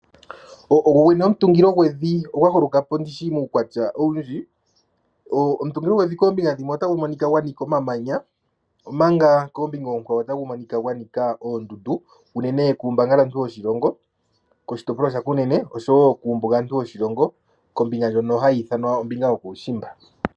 Ngongwene omutungilo ngwevi ongwa holokapo ndishi mukwatya owundji, omutungilo ngwevi kombinga dhimwe otangu monika ngwanika omamanya omaka kombinga okwawo otangu monika ngwanika ondundu unene kumbangalantu woshilongo koshitopolwa shakunene oshowo kumbungantu woshilongo kombinga ndjono hayithanwa ombinga yokushimba.